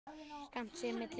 Skammt sé milli húsa.